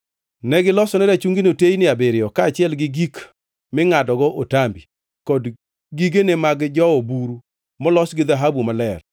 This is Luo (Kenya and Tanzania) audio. Negilosone rachungino teyni abiriyo, kaachiel gi gik mingʼadogo otambi kod gigene mag jowo buru molos gi dhahabu maler.